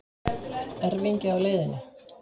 Erfingi á leiðinni